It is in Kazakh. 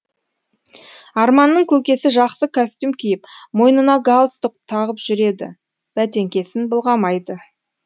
арманның көкесі жақсы костюм киіп мойнына галстук тағып жүреді бәтеңкесін былғамайды